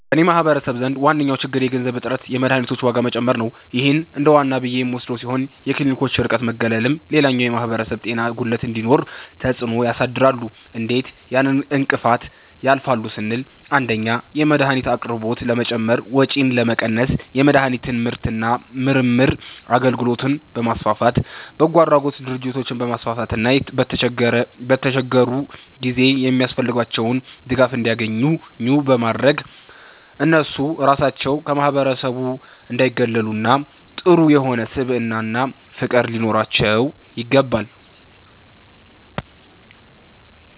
በኔ ማህበረሰብ ዘንድ ዋነኛዉ ችግር የገንዘብ እጥረትና የመድሀኒቶች ዋጋ መጨመር ነዉ ይህ እንደዋና ብዬ የምወስደዉ ሲሆን የክሊኒኮች ርቀትና መገለልም ሌላኛዉ የማህበረሰብ ጤና ጉድለት እንዲኖር ተፅእኖ ያሳድራሉ እንዴት ያን እንቅፋት ያልፋሉ ስንል 1)የመድሀኒት አቅርቦት ለመጨመር ወጪን ለመቀነስ የመድሀኒት ምርትና ምርምር አገልግሎትን በማስፋፋት፣ በጎአድራጎት ድርጅቶችን በማስፋፋትና በተቸገሩ ጊዜ የሚያስፈልጋቸዉን ድጋፍ እንዲያኙ ኙ በማድረግ እነሱ ራሳቸዉ ከማህበረሰቡ እንዳይጉላሉና ጥሩ የሆነ ስብዕናና ፍቅር ሊኖራቸዉ ይገባል።